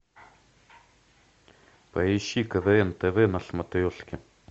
поищи квн тв на смотрешке